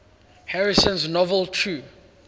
harrison's novel true